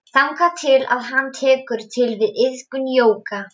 Þangað til að hann tekur til við iðkun jóga.